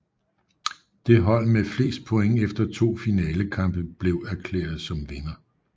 Det hold med flest point efter to finalekampe blev erklæret som vinder